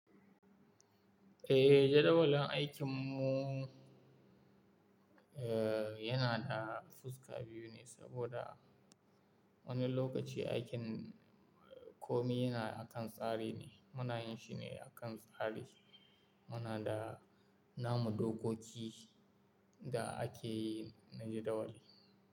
Eh, jadawalin aikin mu, eh yana da fuska biyu ne saboda wani lokaci aikin komi yana akan tsari ne. Muna yin shi ne akan tsari. Muna da namu dokoki da ake yi na jadawali.